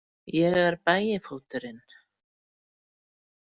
Ég er Bægifóturinn.